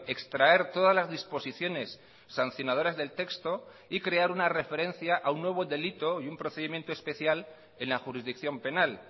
extraer todas las disposiciones sancionadoras del texto y crear una referencia a un nuevo delito y un procedimiento especial en la jurisdicción penal